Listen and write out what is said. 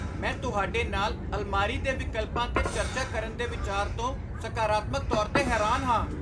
ਮੈਂ ਤੁਹਾਡੇ ਨਾਲ ਅਲਮਾਰੀ ਦੇ ਵਿਕਲਪਾਂ 'ਤੇ ਚਰਚਾ ਕਰਨ ਦੇ ਵਿਚਾਰ ਤੋਂ ਸਕਾਰਾਤਮਕ ਤੌਰ 'ਤੇ ਹੈਰਾਨ ਹਾਂ।